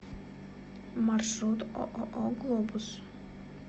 маршрут ооо глобус